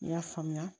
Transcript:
I y'a faamuya